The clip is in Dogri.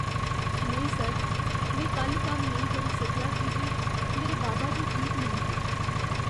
नेईं सर, में कल्ल कम्म नेईं करी सकेआ की जे मेरे बाबा जी ठीक नेईं हे।